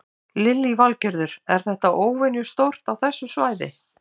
Lillý Valgerður: Er þetta óvenjustórt á þessu svæði?